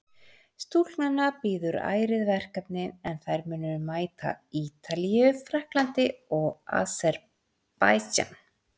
Stúlknanna bíður ærið verkefni en þær munu mæta Ítalíu, Frakklandi og Aserbaídsjan.